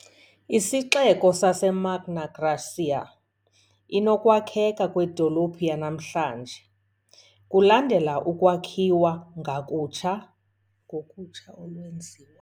isixeko saseMagna Graecia - inokwakheka kwedolophu yanamhlanje, kulandela ukwakhiwa ngakutsha ngokutsha olwenziwa